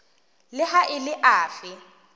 le ha e le afe